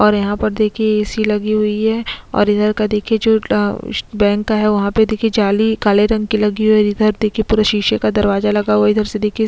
और यहाँ पर देखिये ए.सी लगी हुई है और इधर का देखिये जो अ बैंक का है वहाँ पे देखिये जाली काले रंग की लगी हुई है इधर देखिये पुरे शीशे का दरवाजा लगा हुआ है इधर से देखिये --